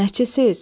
Nəçisiz?